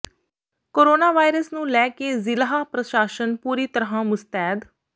corona virus ਨੂੰ ਲੈ ਕੇ ਜ਼ਿਲ੍ਹਾ ਪ੍ਰਸ਼ਾਸਨ ਪੂਰੀ ਤਰ੍ਹਾਂ ਮੁਸਤੈਦ